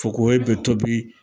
Fokohoye bɛ tobi